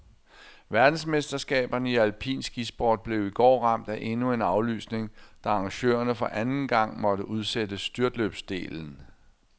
Verdensmesterskaberne i alpin skisport blev i går ramt af endnu en aflysning, da arrangørerne for anden gang måtte udsætte styrtløbsdelen.